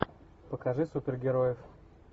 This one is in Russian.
покажи супергероев